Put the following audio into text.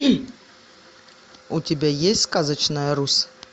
у тебя есть сказочная русь